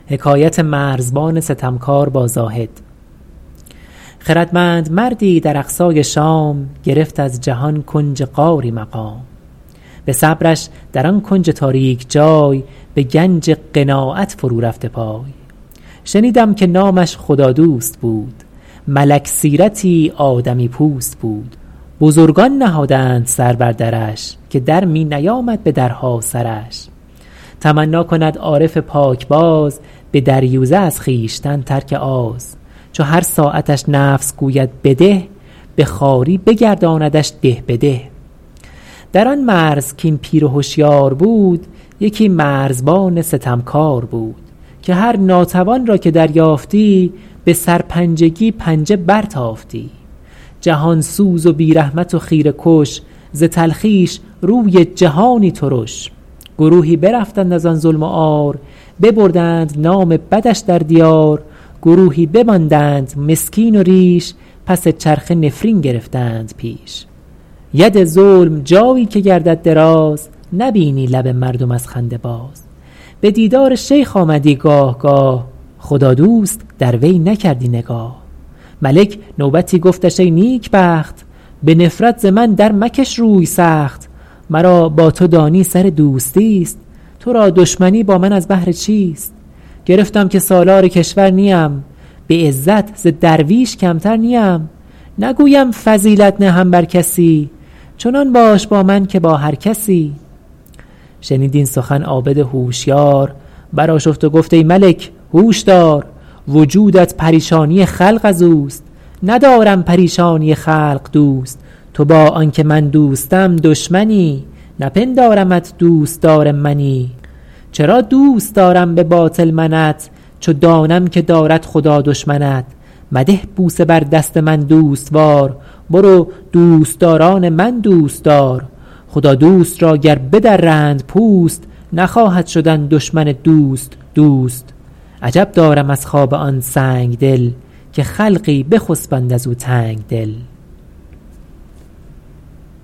خردمند مردی در اقصای شام گرفت از جهان کنج غاری مقام به صبرش در آن کنج تاریک جای به گنج قناعت فرو رفته پای شنیدم که نامش خدادوست بود ملک سیرتی آدمی پوست بود بزرگان نهادند سر بر درش که در می نیامد به درها سرش تمنا کند عارف پاکباز به دریوزه از خویشتن ترک آز چو هر ساعتش نفس گوید بده به خواری بگرداندش ده به ده در آن مرز کاین پیر هشیار بود یکی مرزبان ستمکار بود که هر ناتوان را که دریافتی به سرپنجگی پنجه برتافتی جهان سوز و بی رحمت و خیره کش ز تلخیش روی جهانی ترش گروهی برفتند از آن ظلم و عار ببردند نام بدش در دیار گروهی بماندند مسکین و ریش پس چرخه نفرین گرفتند پیش ید ظلم جایی که گردد دراز نبینی لب مردم از خنده باز به دیدار شیخ آمدی گاه گاه خدادوست در وی نکردی نگاه ملک نوبتی گفتش ای نیکبخت به نفرت ز من در مکش روی سخت مرا با تو دانی سر دوستی است تو را دشمنی با من از بهر چیست گرفتم که سالار کشور نیم به عزت ز درویش کمتر نیم نگویم فضیلت نهم بر کسی چنان باش با من که با هر کسی شنید این سخن عابد هوشیار بر آشفت و گفت ای ملک هوش دار وجودت پریشانی خلق از اوست ندارم پریشانی خلق دوست تو با آن که من دوستم دشمنی نپندارمت دوستدار منی چرا دوست دارم به باطل منت چو دانم که دارد خدا دشمنت مده بوسه بر دست من دوستوار برو دوستداران من دوست دار خدادوست را گر بدرند پوست نخواهد شدن دشمن دوست دوست عجب دارم از خواب آن سنگدل که خلقی بخسبند از او تنگدل